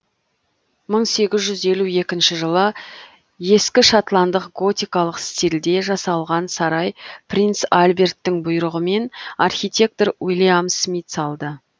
мың сегіз жүз елу екінші жылы ескі шотландық готикалық стилде жасалған сарай принц альберттің бұйрығымен архитектор уильям смит салды